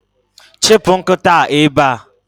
Chụpụ nkịta a ebe a!